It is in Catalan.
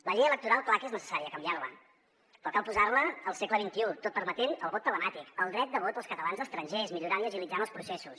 la llei electoral clar que és necessari canviar·la però cal posar·la al segle xxi tot permetent el vot telemàtic el dret de vot als catalans estrangers millorant i agilit·zant els processos